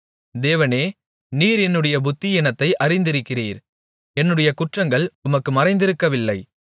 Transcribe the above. தேவனே நீர் என்னுடைய புத்தியீனத்தை அறிந்திருக்கிறீர் என்னுடைய குற்றங்கள் உமக்கு மறைந்திருக்கவில்லை